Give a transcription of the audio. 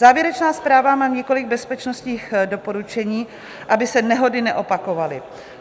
Závěrečná zpráva má několik bezpečnostních doporučení, aby se nehody neopakovaly.